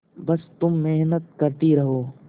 बस तुम मेहनत करती रहो